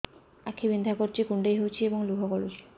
ଆଖି ବିନ୍ଧା କରୁଛି କୁଣ୍ଡେଇ ହେଉଛି ଏବଂ ଲୁହ ଗଳୁଛି